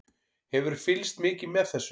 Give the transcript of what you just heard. Hefurðu fylgst mikið með þessu?